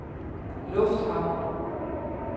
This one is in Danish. lufthavn